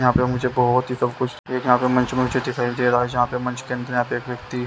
यहाँ पे मुझे बहुत ही सब कुछ एक यहाँ पे मंच मुझे दिखाई दे रहा है यहाँ पे मंच के अंदर यहाँ पे एक व्यक्ति।